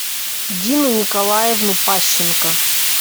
дину николаевну пащенко